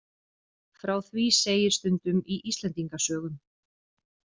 Frá því segir stundum í Íslendingasögum.